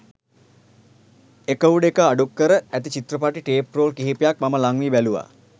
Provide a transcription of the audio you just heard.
එක උඩ එක අඩුක්කර ඇති චිත්‍රපටි ටේප් රෝල් කිහිපයක් මම ළංවී බැලුවා